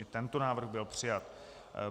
I tento návrh byl přijat.